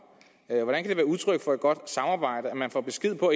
hvordan kan det være udtryk for et godt samarbejde at man får besked på